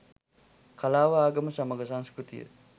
කලාව ආගම සමඟ සංස්කෘතිය